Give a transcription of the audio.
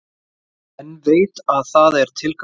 En veit að það er tilgangslaust.